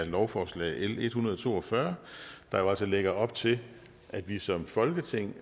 lovforslag l en hundrede og to og fyrre der jo altså lægger op til at vi som folketing